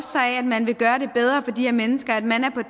sig af at man vil gøre det bedre for de her mennesker at man er på